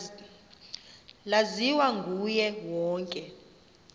laziwa nguye wonke